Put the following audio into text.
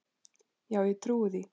Já ég trúi því.